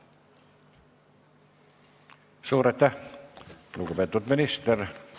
Suur aitäh, lugupeetud minister!